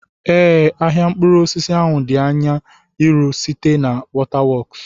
Ee, ahịa mkpụrụ osisi ahụ di anya iru, site na waterworks.